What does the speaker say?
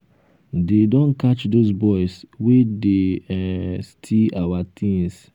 dey don catch those boys wey dey um steal our things